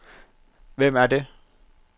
Hvem er det